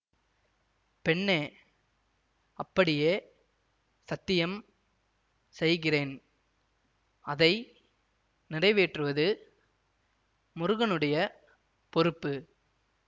பெண்ணே அப்படியே சத்தியம் செய்கிறேன் அதை நிறைவேற்றுவது முருகனுடைய பொறுப்பு